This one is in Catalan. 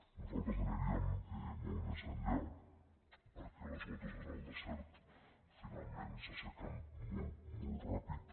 nosaltres aniríem molt més enllà perquè les gotes en el desert finalment s’assequen molt molt ràpid